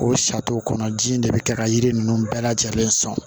O saritonw kɔnɔ ji in de bɛ kɛ ka yiri ninnu bɛɛ lajɛlen sɔn